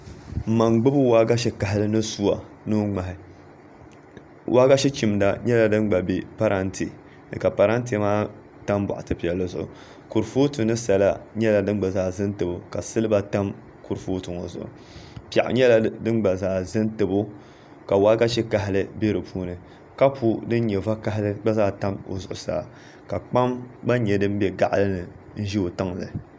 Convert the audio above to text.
N ma n gbubi waagashe mini suwa ni o ŋmahi waagashe chimda gba bɛ parantɛ ni ka parantɛ maa tam kurifooti ni sala nyɛla din gba zaa ʒɛ n tabo ka silba tam kurifooti ŋo zuɣu piɛɣu nyɛla din gba zaa ʒɛ n tabo ka waagashe kahali bɛ piɛɣu ŋo puuni kapu din nyɛ vakaɣali gba zaa tam o zuɣusaa ka kpam gba nyɛ din bɛ gaɣali ni n ʒɛ o tiŋli